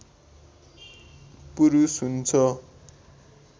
पुरुष हुन्छ